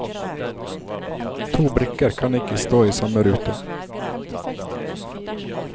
To brikker kan ikke stå i samme rute.